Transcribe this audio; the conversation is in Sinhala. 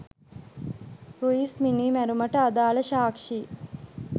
රුයිස් මිනිමැරුමට අදාල සාක්ෂි